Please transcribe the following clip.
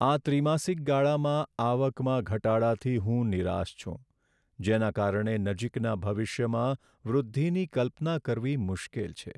આ ત્રિમાસિક ગાળામાં આવકમાં ઘટાડાથી હું નિરાશ છું, જેના કારણે નજીકના ભવિષ્યમાં વૃદ્ધિની કલ્પના કરવી મુશ્કેલ છે.